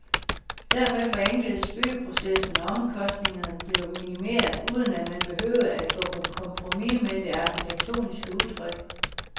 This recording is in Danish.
Dermed forenkledes byggeprocessen og omkostningerne blev minimeret, uden at man behøvede at gå på kompromis med det arkitektoniske udtryk.